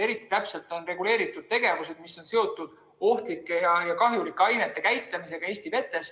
Eriti täpselt on reguleeritud tegevused, mis on seotud ohtlike ja kahjulike ainete käitlemisega Eesti vetes.